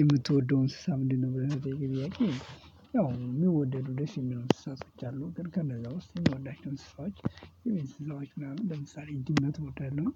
የምትወደው እንስሳ ምንድነው? ብለን ለተጠየቀው ጥያቄ ያው የሚወደዱ ደስ የሚሉ እንስሳ ብቻ አሉ ግን ከነዛ ውስጥ የምወዳቸውን እንስሳዎች የሚያስዘዋች ምናምን ለምሳሌ ድመት እወዳለሁ።